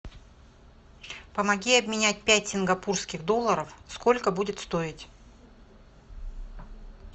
помоги обменять пять сингапурских долларов сколько будет стоить